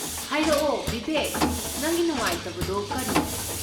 ꯍꯥꯏꯔꯛꯑꯣ, ꯕꯤꯕꯦꯛ, ꯅꯪꯒꯤ ꯅꯨꯡꯉꯥꯏꯇꯕꯗꯣ ꯀꯔꯤꯅꯣ?